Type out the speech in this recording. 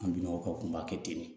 An bi nɔgɔ kunba kɛ ten